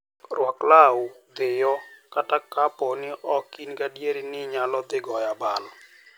Rwak law dhiyo, kata kapo ni ok in gadier ni inyalo dhi goyo abal.